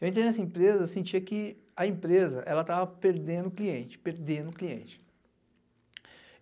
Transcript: Eu entrei nessa empresa, eu sentia que a empresa, ela tava perdendo cliente, perdendo cliente.